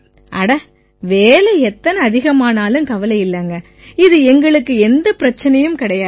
அட வேலை எத்தனை அதிகமானாலும் கவலை இல்லைங்க இது எங்களுக்கு எந்தப் பிரச்சனையும் கிடையாது